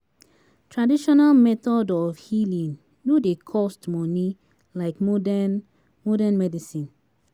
Traditional method of healing no dey cost money like modern modern medicine